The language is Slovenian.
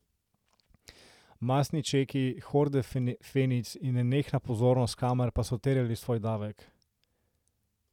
Mastni čeki, horde fenic in nenehna pozornost kamer pa so terjali svoj davek.